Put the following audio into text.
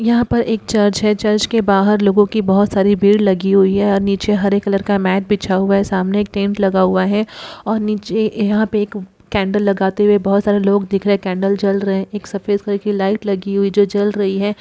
यहाँ पर एक चर्च है। चर्च के बाहर लोगों की बोहोत सारी भीड़ लगी हुई हैं। अ नीचे हरे कलर का मैट बिछा हुआ है। सामने एक टेंट लगा हुआ है और नीचे ए यहाँ पे एक कैन्डल लगाते हुए बहोत सारे लोग दिख रहे। कैन्डल जल रहे। एक सफ़ेद कलर की लाइट लगी हुई जो जल रही है।